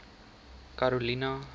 karolina